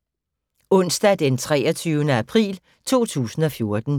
Onsdag d. 23. april 2014